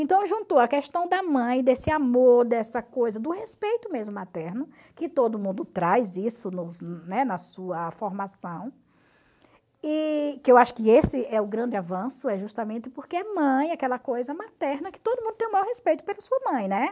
Então juntou a questão da mãe, desse amor, dessa coisa do respeito mesmo materno, que todo mundo traz isso no, né, na sua formação, e que eu acho que esse é o grande avanço, é justamente porque é mãe aquela coisa materna que todo mundo tem o maior respeito pela sua mãe, né?